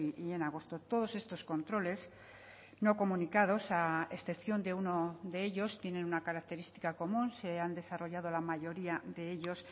y en agosto todos estos controles no comunicados a excepción de uno de ellos tienen una característica común se han desarrollado la mayoría de ellos